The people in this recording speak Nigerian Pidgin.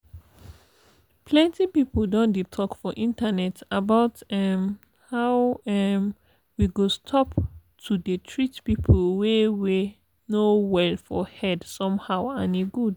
plenty people don dey talk for internet about um how um we go stop to dey treat people wey wey no well for head somehow and e good.